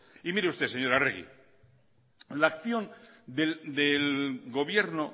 y mire usted señora arregi la acción del gobierno